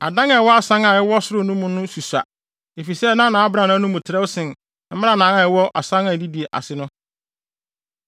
Adan a ɛwɔ asan a ɛwɔ soro no mu no susua, efisɛ na nʼabrannaa no mu trɛw sen mmrannaa a ɛwowɔ asan a edidi ase no.